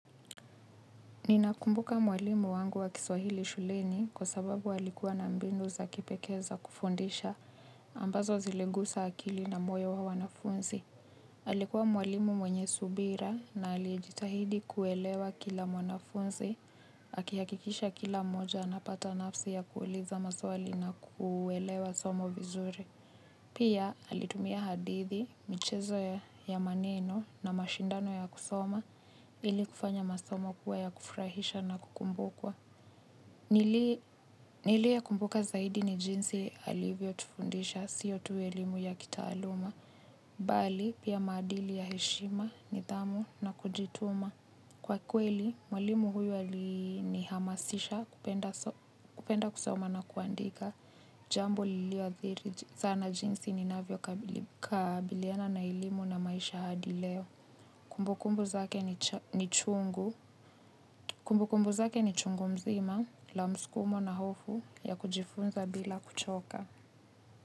Ninakumbuka mwalimu wangu wa kiswahili shuleni, kwa sababu alikuwa na mbinu za kipekee za kufundisha ambazo ziligusa akili na moyo wa wanafunzi. Alikuwa mwalimu mwenye subira na aliyejitahidi kuelewa kila mwanafunzi. Akihakikisha kila moja anapata nafasi ya kuuliza maswali na kuelewa somo vizuri. Pia alitumia hadithi, michezo ya maneno na mashindano ya kusoma ili kufanya masomo kuwa ya kufurahisha na ya kukumbukwa. Niliyekumbuka zaidi ni jinsi alivyo tufundisha, sio tu elimu ya kitaaluma. Bali, pia maadili ya heshima, nidhamu na kujituma. Kwa kweli, mwalimu huyu alihanihamasisha kupenda kusoma na kuandika. Jambo lililoathiri sana jinsi ninavyokabiliana na elimu na maisha hadi leo. Kumbu kumbu zake ni chungu mzima, la mskumo na hofu ya kujifunza bila kuchoka.